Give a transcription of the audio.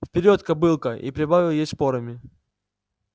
вперёд кобылка и прибавил ей шпорами